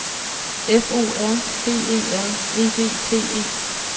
F O R B E R E D T E